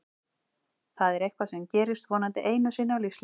Það er eitthvað sem gerist vonandi einu sinni á lífsleiðinni.